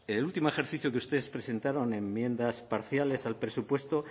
el último ejercicio que ustedes presentaron enmiendas parciales al presupuesto